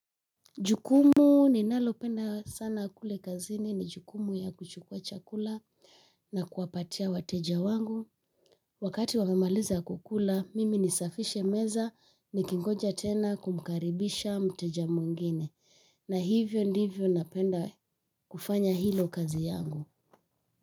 Jukumu ninalopenda sana kule kazini ni jukumu ya kuchukua chakula na kuwapatia wateja wangu. Wakati wamemaliza kukula, mimi nisafishe meza nikingoja tena kumkaribisha mteja mwingine. Na hivyo ndivyo napenda kufanya hilo kazi yangu.